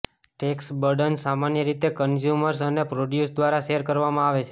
tax burdens સામાન્ય રીતે consumers અને પ્રોડ્યુસર્સ દ્વારા શેર કરવામાં આવે છે